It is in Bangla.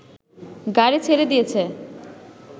গাড়ি ছেড়ে দিয়েছে